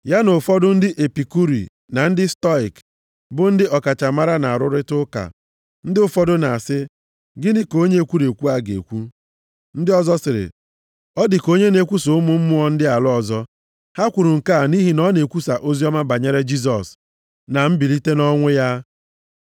Ya na ụfọdụ ndị Epikuri + 17:18 Otu ndị kwenyere na ndụ bụ maka naanị oriri na ọṅụṅụ. na ndị Stoịk + 17:18 Otu ndị na-ekwenyeghị na ndụ bụ naanị oriri na ọṅụṅụ. bụ ndị ọkachamara na-arụrịta ụka. Ndị ụfọdụ na-asị, “gịnị ka onye ekwurekwu a ga-ekwu?” Ndị ọzọ sịrị, “ọ dịka onye na-ekwusa ụmụ mmụọ + 17:18 Ha chere na ọ bụ chi nke ndị ala ọzọ, ha amaghị na ọ bụ Chi onye kere ihe niile ka ọ na-ekwu banyere ya. ndị ala ọzọ.” Ha kwuru nke a nʼihi na ọ na-ekwusa oziọma banyere Jisọs na mbilite nʼọnwụ ya.